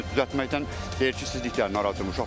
Əksinə düzəltməkdən deyir ki, sizlik deyil, narahat olmayın.